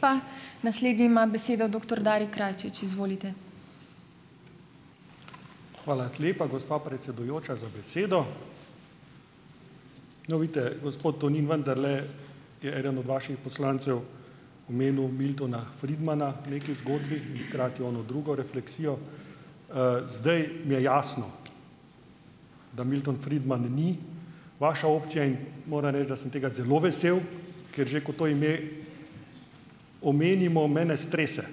Hvala lepa, gospa predsedujoča, za besedo. No, vidite, gospod Tonin, vendarle je eden od vaših poslancev omenil Miltona Friedmana v neki zgodbi in hkrati ono drugo refleksijo. Zdaj je jasno, da Milton Friedman ni vaša opcija, in moram reči, da sem tega zelo vesel, ker že ko to ime omenimo, mene strese.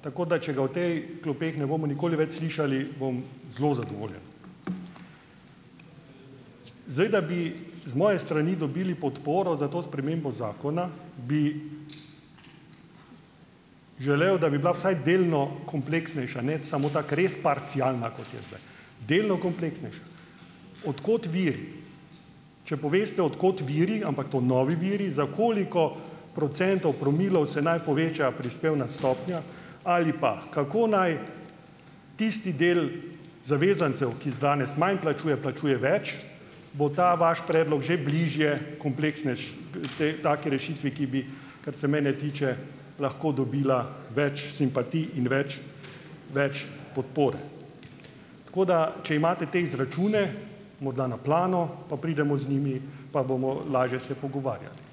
Tako da če ga v tej klopeh ne bomo nikoli več slišali, bom zelo zadovoljen. Zdaj, da bi z moje strani dobili podporo za to spremembo zakona, bi želel, da bi bila vsaj delno kompleksnejša, ne samo tako res parcialna, kot je zdaj. Delno kompleksnejša. Od kod vir? Če poveste, od kod viri, ampak to novi viri, za koliko procentov, promilov se naj poveča prispevna stopnja ali pa, kako naj tisti del zavezancev, ki danes manj plačuje, plačuje več, bo ta vaš predlog že bližje te taki rešitvi, ki bi, kar se mene tiče, lahko dobila več simpatij in več več podpore. Tako da če imate te izračune, morda na plano, pa pridemo z njimi, pa bomo lažje se pogovarjali.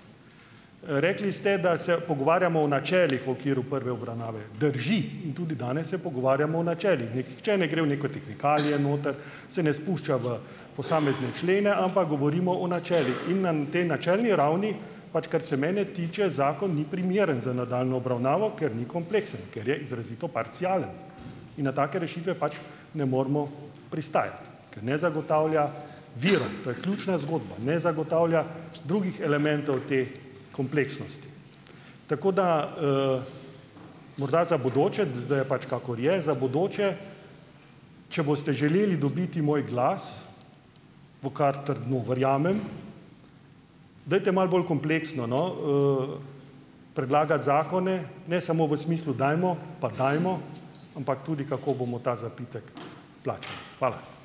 Rekli ste, da se pogovarjamo o načelih v okviru prve obravnave. Drži. In tudi danes se pogovarjamo o načelih. Nihče ne gre v neke tehnikalije noter, se ne spušča v posamezne člene, ampak govorimo o načelih. In na tej načelni ravni, pač, kar se mene tiče, zakon ni primeren za nadaljnjo obravnavo, ker ni kompleksen, ker je izrazito parcialen. In na take rešitve pač ne moremo pristajati, ker ne zagotavlja virov. To je ključna zgodba. Ne zagotavlja drugih elementov te kompleksnosti. Tako da, ... Morda za bodoče, zdaj je pač, kakor je, za bodoče, če boste želeli dobiti moj glas, v kar trdno verjamem, dajte malo bolj kompleksno, no, predlagati zakone, ne samo v smislu dajmo, pa dajmo, ampak tudi, kako bomo ta zapitek plačali. Hvala.